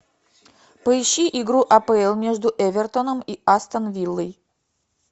поищи игру апл между эвертоном и астон виллой